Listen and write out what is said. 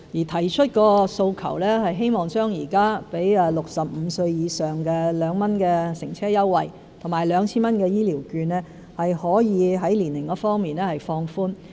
他提出的訴求是希望現時給65歲以上人士的2元乘車優惠和 2,000 元的醫療券可以在年齡方面放寬。